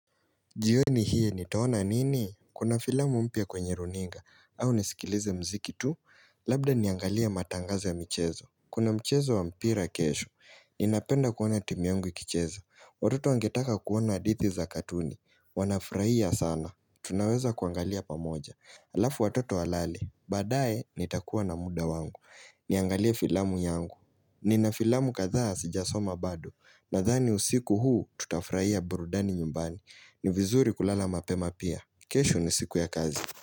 Jioni hii, nitaona nini? Kuna filamu mpya kwenye runinga au nisikilize muziki tu Labda niangalie matangazo ya michezo kuna mchezo wa mpira kesho Ninapenda kuona timu yangu ikicheza Watoto wangetaka kuona hadithi za katuni Wanafurahia sana Tunaweza kuangalia pamoja Alafu watoto walale Baadae, nitakuwa na muda wangu Niangalie filamu yangu Nina filamu kadha sijasoma bado Nadhani usiku huu, tutafurahia burudani nyumbani ni vizuri kulala mapema pia kesho ni siku ya kazi.